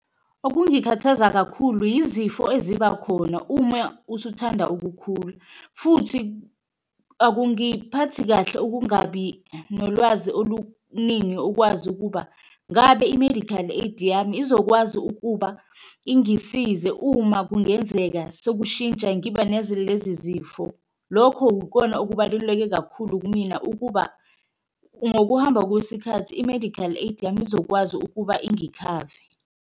Okungikhathaza kakhulu yizifo ezibakhona uma usuthanda ukukhula futhi akungiphathi kahle ukungabi nolwazi oluningi ukwazi ukuba, ngabe i-medical aid yami izokwazi ukuba ingisize uma kungenzeka sekushintsha ngiba neze lezi zifo. Lokho ukona okubaluleke kakhulu kumina ukuba ngokuhamba kwesikhathi i-medical aid yami izokwazi ukuba ingikhave.